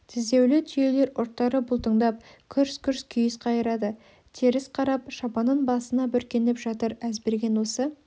тіздеулі түйелер ұрттары бұлтыңдап күрс-күрс күйіс қайырады теріс қарап шапанын басына бүркеніп жатыр әзберген осы